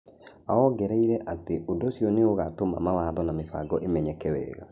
Aongereire atĩ ũndũ ũcio nĩ ũgaatũma mawatho na mĩbango ĩmenyeke wega.